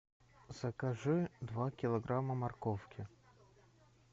закажи два килограмма морковки